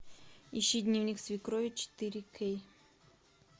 ищи дневник свекрови четыре кей